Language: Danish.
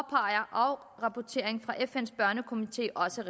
afrapporteringen fra fn’s børnekomité også